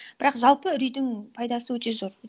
бірақ жалпы үрейдің пайдасы өте зор